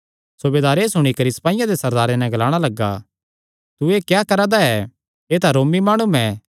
सूबेदार एह़ सुणी करी सपाईयां दे सरदारे नैं ग्लाणा लग्गा तू एह़ क्या करा दा ऐ एह़ तां रोमी माणु ऐ